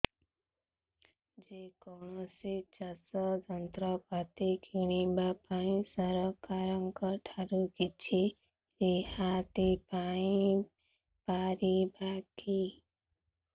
ଯେ କୌଣସି ଚାଷ ଯନ୍ତ୍ରପାତି କିଣିବା ପାଇଁ ସରକାରଙ୍କ ଠାରୁ କିଛି ରିହାତି ପାଇ ପାରିବା କି